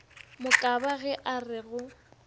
mokaba ge a re go